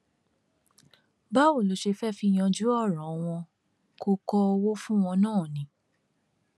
báwo ló ṣe fẹẹ fi yanjú ọrọ wọn kó kọ owó fún wọn náà ni